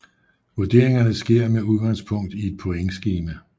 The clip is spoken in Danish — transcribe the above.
Vurderingerne sker med udgangspunkt i et pointskema